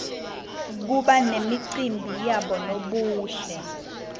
kuba nemacimbi yabonobuhle